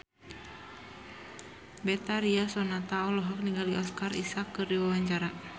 Betharia Sonata olohok ningali Oscar Isaac keur diwawancara